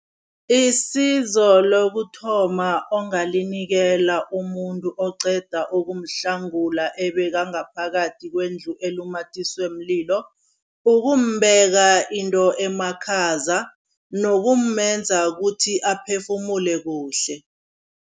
Isizo lokuthoma ongalinikela umuntu oqeda ukumhlangula, ebekangaphakathi kwendlu elumathiswe mlilo, ukumbeka into emakhaza nokumenza ukuthi aphefumula kuhle.